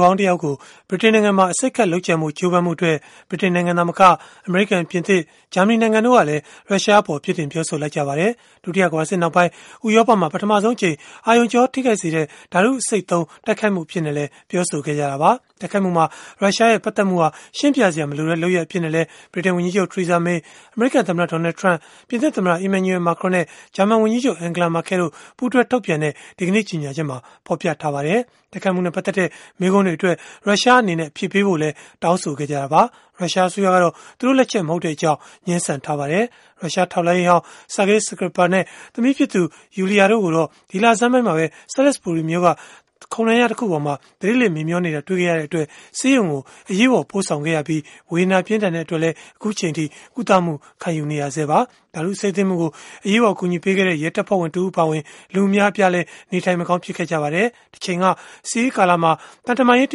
ဟောင်းတယောက်ကို ဗြိတိန်နိုင်ငံမှာ အဆိပ်ခတ်လုပ်ကြံဖို့ ကြိုးပမ်းမှုအတွက် ဗြိတိန်နိုင်ငံသာမက အမေရိကန်၊ ပြင်သစ်၊ ဂျာမနီနိုင်ငံတို့ကလည်း ရုရှားအပေါ် ပြစ်တင်ပြောဆိုလိုက်ကြပါတယ်။ ဒုတိယကမ္ဘာစစ်နောက်ပိုင်း ဥရောပမှာ ပထမဆုံးအကြိမ် အာရုံကြော ထိခိုက်စေတဲ့ ဓာတုအဆိပ်ဓာတ်သုံး တိုက်ခိုက်မှု အဖြစ်နဲ့လည်း ပြောဆိုခဲ့ကြတာပါ။ တိုက်ခိုက်မှုမှာ ရုရှားရဲ့ ပတ်သက်မှုဟာ ရှင်းပြစရာ မလိုတဲ့ လုပ်ရပ်အဖြစ်နဲ့လည်း ဗြိတိန်ဝန်ကြီးချုပ် Theresa May အမေရိကန်သမ္မတ Donald Trump ပြင်သစ်သမ္မတ Emmanual Macron နဲ့ ဂျာမန်ဝန်ကြီးချုပ် Angela Merkel တို့ ပူးတွဲထုတ်ပြန်တဲ့ ဒီကနေ့ ကြေညာချက်မှာ ဖော်ပြထားပါတယ်။ တိုက်ခိုက်မှုနဲ့ ပတ်သက်တဲ့ မေးခွန်းတွေအတွက် ရုရှားအနေနဲ့ အဖြေပေးဖို့လည်း တောင်းဆိုခဲ့ကြတာပါ။ ရုရှားအစိုးရကတော့ သူတို့လက်ချက် မဟုတ်ကြောင်း ငြင်းဆန်ထားပါတယ်။ ရုရှားထောက်လှမ်းရေးဟောင်း Sergei Skripal နဲ့ သမီးဖြစ်သူ Yulia တို့ကိုတော့ ဒီလဆန်းပိုင်းမှာပဲ Salisbury မြို့က ခုံတန်းလျား တခုပေါ်မှာ သတိလစ်မေ့မျောနေတာ တွေ့ခဲ့ရတဲ့အတွက် ဆေးရုံကို အရေးပေါ် ပို့ဆောင်ခဲ့ရပြီး၊ ဝေဒနာပြင်းထန်တဲ့အတွက် အခုအချိန်အထိ ကုသမှုခံနေရဆဲပါ။ ဓာတုအဆိပ်သင့်မှုကို အရေးပေါ် အကူအညီပေးခဲ့တဲ့ ရဲတပ်ဖွဲ့ဝင် တဦးအပါအဝင် လူအများအပြားလည်း နေထိုင်မကောင်း ဖြစ်ခဲ့ကြပါတယ်။ တချိန်က စစ်အေးကာလမှာ သံတမန်ရေး တ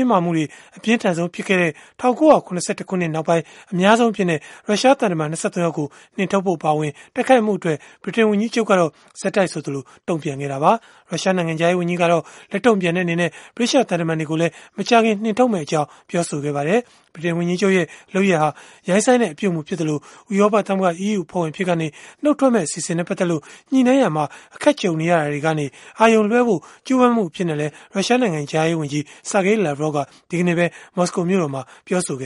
င်းမာမှုတွေ အပြင်းထန်ဆုံး ဖြစ်ခဲ့တဲ့ ၁၉၇၁ ခုနှစ်နောက်ပိုင်း အများဆုံးအဖြစ်နဲ့ ရုရှားသံတမန် ၂၃ ယောက်ကို နှင်ထုတ်ဖို့ အပါအဝင် တိုက်ခိုက်မှုအတွက် ဗြိတိန်ဝန်ကြီးချုပ်ကတော့ ဆက်တိုက်ဆိုသလို တုံ့ပြန်ခဲ့တာပါ။ ရုရှားနိုင်ငံခြားရေးဝန်ကြီးကတော့ လက်တုံ့ပြန်တဲ့အနေနဲ့ ဗြိတိသျှသံတမန်တွေကို မကြာခင် နှင်ထုတ်မယ့်အကြောင်း ပြောဆိုခဲ့ပါတယ်။ ဗြိတိန်ဝန်ကြီးချုပ်ရဲ့ လုပ်ရပ်ဟာ ရိုင်းစိုင်းတဲ့ အပြုအမူဖြစ်သလို၊ ဥရောပသမဂ္ဂ (EU) အဖွဲ့ဝင် အဖြစ်ကနေ နှုတ်ထွက်မယ့် အစီအစဉ်နဲ့ ပတ်သက်လို့ ညှိနှိုင်းရာမှာ အခက်ကြုံနေရတာတွေကနေ အာရုံလွဲှဖို့ ကြိုးပမ်းမှု အဖြစ်နဲ့လည်း ရုရှားနိုင်ငံခြားရေးဝန်ကြီး Sergey Lavrov က ဒီကနေ့ပဲ မော်စကိုမြို့တော်မှာ ပြောဆိုခဲ့